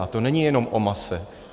A to není jenom o mase.